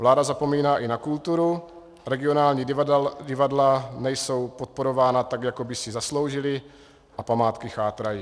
Vláda zapomíná i na kulturu, regionální divadla nejsou podporována tak, jak by si zasloužila, a památky chátrají.